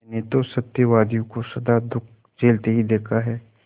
मैंने तो सत्यवादियों को सदा दुःख झेलते ही देखा है